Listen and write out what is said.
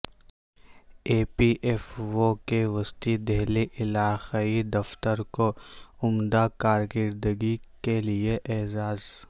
ای P F O کے وسطی دہلی علاقائی دفتر کو عمدہ کارکردگی کے لیے اعزاز